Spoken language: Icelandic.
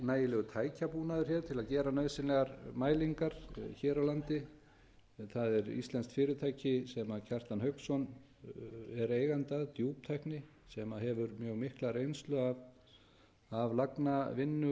nægilegur tækjabúnaður hér til þess að gera nauðsynlegar mælingar hér á landi það er íslenskt fyrirtæki sem kjartan hauksson er eigandi að djúptækni sem hefur mjög mikla reynslu af lagnavinnu